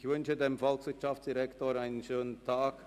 Ich wünsche dem Volkswirtschaftsdirektor einen schönen Tag.